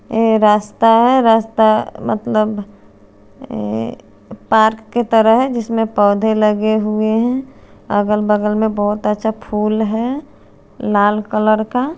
अ रास्ता रास्ता मतलब अ पार्क की तरह है जिसमे पोधे लगे हुए है अगल बगल में बोहोत अच्छा फुल है लाल कलर का--